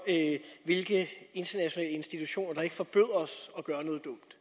hvilke internationale institutioner der ikke forbyder os at gøre noget dumt